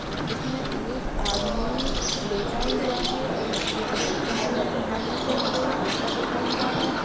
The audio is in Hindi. अ इसमें एक आदमी लेटा हुआ है त तकिये पे सिर रखे हुए हाथ रखे हुए है उल्टा लेटा हुआ है।